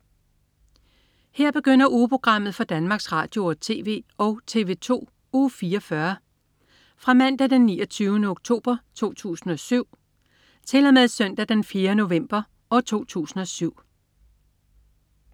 Her begynder ugeprogrammet for Danmarks Radio- og TV og TV2 Uge 44 Fra Mandag den 29. oktober 2007 Til Søndag den 4. november 2007